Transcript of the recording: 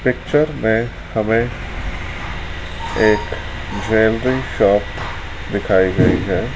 Picture में हमें एक ज्वेलरी शॉप दिखाई गई है।